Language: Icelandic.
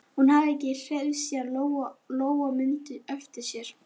Hún hafði ekki hreyfst síðan Lóa Lóa mundi eftir sér.